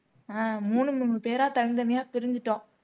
ஆஹ் மூணு மூணு பேரா தனித்தனியா பிரிஞ்சிட்டோம்